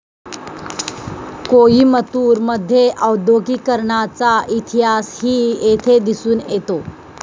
कोईमतूर मध्ये औद्योगीकरणाचा इतिहासही येथे दिसून येतो